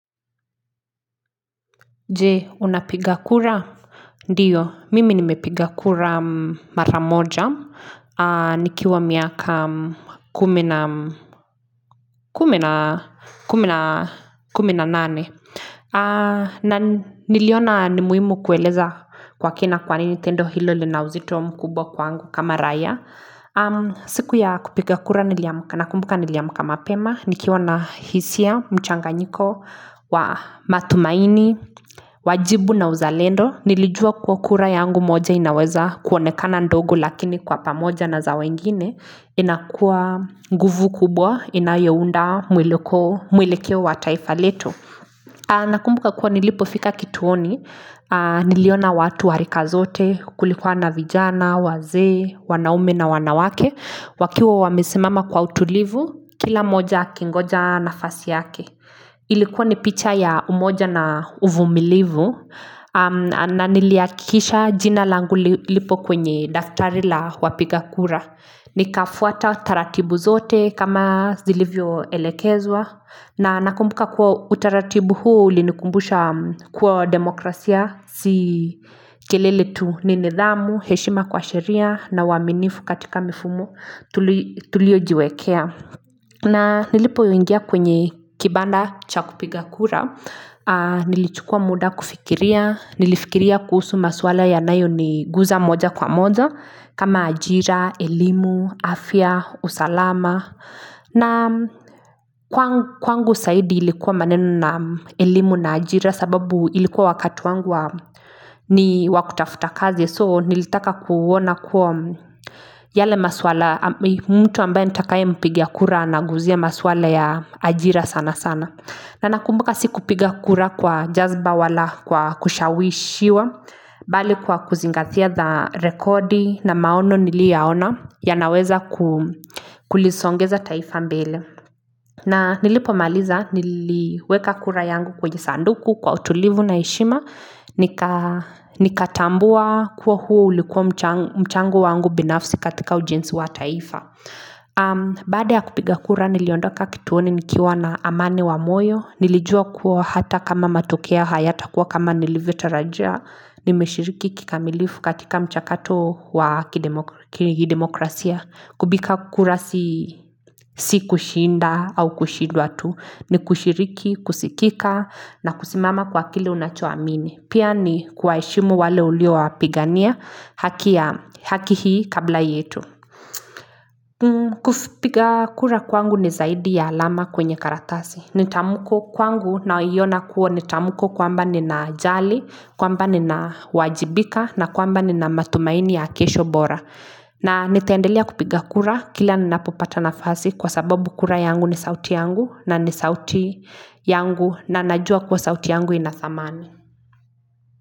Jee, unapiga kura? Ndiyo, mimi nimepiga kura maramoja, nikiwa miaka kumina nane. Niliona ni muhimu kueleza kwa kina kwa nini tendo hilo linauzito mkubwa kwangu kama raia. Siku ya kupiga kura, nakumbuka niliamuka mapema Nikiwa na hisia, mchanganyiko, matumaini, wajibu na uzalendo Nilijua kuwa kura yangu moja inaweza kuonekana ndogo Lakini kwa pamoja na za wengine inakua nguvu kubwa, inayounda mwelekeo wa taifa letu Nakumbuka kwa nilipofika kituoni Niliona watu wa rika zote, kulikuwa na vijana, wazee wanaume na wanawake wakiwa wamesimama kwa utulivu kila mmoja akingoja nafasi yake ilikuwa ni picha ya umoja na uvumilivu na niliakikisha jina langu lipo kwenye daftari la wapigakura nikafuata taratibu zote kama zilivyo elekezwa na nakumbuka kuwa utaratibu huo ulinikumbusha kwa demokrasia si kelele tu ni nidhamu, heshima kwa sheria na uwaminifu katika mifumo tulio jiwekea na nilipo ingia kwenye kibanda cha kupiga kura nilichukua muda kufikiria nilifikiria kuhusu maswala yanayo niguza moja kwa moja kama ajira, elimu afya, usalama na kwangu saidi ilikuwa maneno na elimu na ajira sababu ilikuwa wakati wangu ni wakutafuta kazi so nilitaka kuona kuwa yale maswala mtu ambaye nitakaye mpigia kura anaguzia maswala ya ajira sana sana na nakumbuka si kupiga kura kwa jazba wala kwa kushawishiwa bali kwa kuzingatia the record na maono nilioyaona yanaweza kulisongeza taifa mbele na nilipomaliza niliweka kura yangu kwa jisanduku kwa utulivu na heshima nikatambua kuwa huo ulikuwa mchango wangu binafsi katika ujenzi wa taifa Baada ya kupiga kura niliondoka kituoni nikiwa na amani wa moyo Nilijua kuwa hata kama matokea hayatakuwa kama nilivyo tarajia Nimeshiriki kikamilifu katika mchakato wa kidemokrasia Kubika kukura si kushinda au kushidwa tu Nikushiriki, kusikika na kusimama kwa kile unacho amini Pia ni kuwaheshimu wale ulio wapigania haki hii kabla yetu kupiga kura kwangu ni zaidi ya alama kwenye karatasi nitamuko kwangu naionakuwa nitamuko kwamba nina jali kwamba nina wajibika na kwamba nina matumaini ya kesho bora na nitendelia kupiga kura kila ninapopata nafasi kwa sababu kura yangu ni sauti yangu na ni sauti yangu na najua kuwa sauti yangu ina thamani.